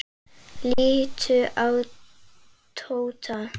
Líttu á Tóta.